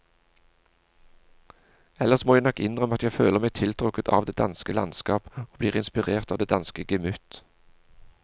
Ellers må jeg nok innrømme at jeg føler meg tiltrukket av det danske landskap og blir inspirert av det danske gemytt.